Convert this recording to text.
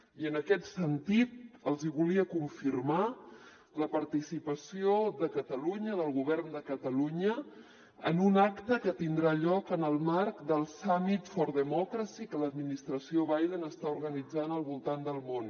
i en aquest sentit els hi volia confirmar la participació de catalunya del govern de catalunya en un acte que tindrà lloc en el marc del summit for democracy que l’administració biden està organitzant al voltant del món